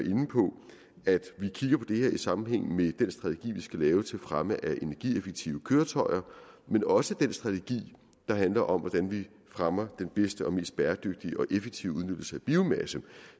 at vi kigger på det her i sammenhæng med den strategi vi skal lave til fremme af energieffektive køretøjer men også den strategi der handler om hvordan vi fremmer den bedste og mest bæredygtige og effektive udnyttelse af biomassen